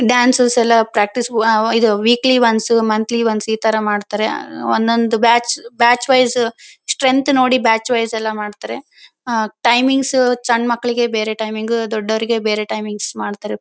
Dances ಎಲ್ಲ practice ವ ಇದು ವೀಕ್ಲಿ ವನ್ಸ್ ಮಂಥ್ಲಿ ವನ್ಸ್ ಈ ತರ ಮಾಡ್ತಾರೆ ಆ ಒಂದೊಂದು ಬ್ಯಾಚ್ ಬ್ಯಾಚ್ ವೈಸ್ ಸ್ಟ್ರೆಂಗ್ತ್ ನೋಡಿ ಬ್ಯಾಚ್ ವೈಸ್ ಎಲ್ಲ ಮಾಡ್ತಾರೆ ಟೈಮಿಂಗ್ಸ್ ಸಣ್ಣ ಮಕ್ಕಳಿಗೆಲ್ಲ ಬೇರೆ ಟೈಮಿಂಗ್ಸ್ ದೊಡ್ಡೋರಿಗೆ ಬೇರೆ ಟೈಮಿಂಗ್ಸ್ ಮಾಡ್ತಾರೆ .